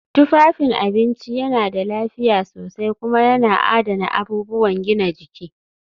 Tufafin abinci yana da lafiya sosai kuma yana adana abubuwan gina jiki